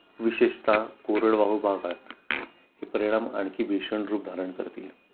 विशेषतः कोरडवाहू भागात हे परिणाम आणखी भीषण रूप धारण करतील